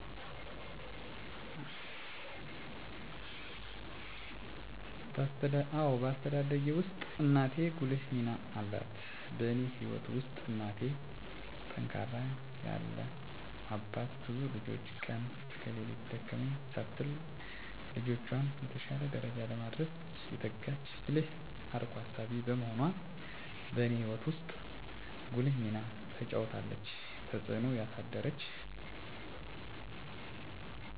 አዎ በአስተዳደጌ ውስጥ እናቴ ጉልህ ሚና አላት በእኔ ህይወት ውስጥ እናቴ ጠንካራ ያለ አባት ብዙ ልጆችን ቀን ከሌት ደከመኝ ሳትል ልጆቿን የተሻለ ደረጃ ለማድረስ የተጋች ብልህ አርቆ አሳቢ በመሆኗ በእኔ ህይወት ውስጥ ጉልህ ሚና ተጫውታለች። ተፅእኖ ያሳደረችብኝ ቆራጥ ትክክለኛ ውሳኔ ስለምትወስን ጠቃሚ ምክር ስለምትሰጥ፣ የተሻለ ቦታ እንድንደርስ ስለምትተጋ እኔም ችግሮች ቢያጋጥሙኝ በቁርጠኝነት እና በብልሀት እንዳልፋቸው ጥሩ ተፅኖ አድርጋብኛለች።